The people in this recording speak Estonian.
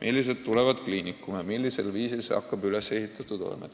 millised lähevad kliinikumi – millisel viisil süsteem hakkab üles ehitatud olema.